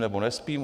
Nebo nespím?